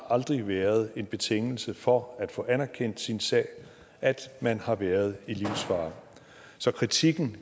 aldrig været en betingelse for at få anerkendt sin sag at man har været i livsfare så kritikken